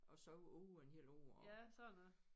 Og så over en hel år og